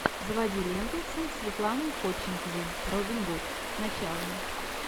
заводи ленту со светланой ходченковой робин гуд начало